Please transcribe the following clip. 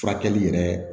Furakɛli yɛrɛ